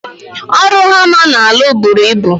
Ọrụ hama na alụ bụrụ ịbụ